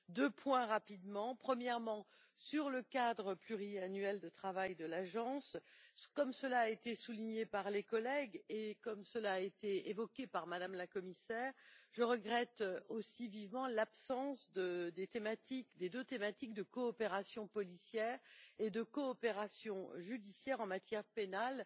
Deux points rapidement. Premièrement, sur le cadre pluriannuel de travail de l'Agence comme cela a été souligné par les collègues et comme cela a été évoqué par Mme la commissaire je regrette aussi vivement l'absence des deux thématiques de coopération policière et de coopération judiciaire en matière pénale